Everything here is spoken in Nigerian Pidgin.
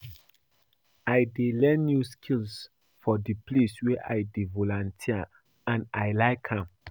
I dey learn new skills for di place wey I dey volunteer and I like am.